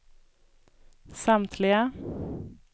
samtliga